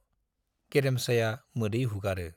गेरेमसाया मोदै हुगारो।